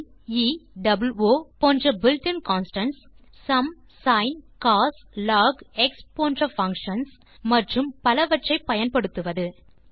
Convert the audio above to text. பின் pieஓ போன்ற built இன் கான்ஸ்டன்ட்ஸ் மற்றும் sumsincoslogஎக்ஸ்ப் போன்ற பங்ஷன்ஸ் மற்றும் பலவற்றை பயன்படுத்துவது